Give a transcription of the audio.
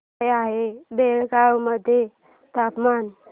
काय आहे बेळगाव मध्ये तापमान